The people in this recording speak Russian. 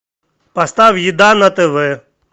поставь еда на тв